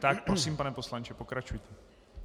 Tak prosím, pane poslanče, pokračujte.